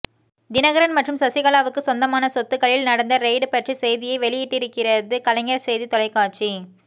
தினகரன் மற்றும் சசிகலாவுக்கு சொந்தமான சொத்துக்களில் நடந்த ரெய்டு பற்றி செய்தியை வெளியிட்டிருக்கிறது கலைஞர் செய்தி தொலைக்காட்சி